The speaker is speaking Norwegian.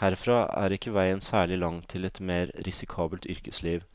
Herfra er ikke veien særlig lang til et mer risikabelt yrkesliv,